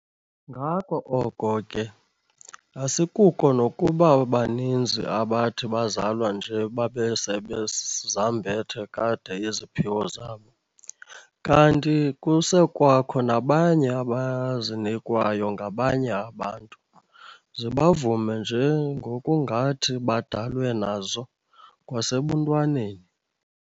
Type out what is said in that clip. Ngako oko ke asikuko nokuba baninzi abathi bezalwa nje babe sebezambethe kade iziphiwo zabo, kanti kusekwakho nabanye abazinikwayo ngabanye abantu, zibavume nje ngokungathi badalwe nazo kwasebuntwaneni.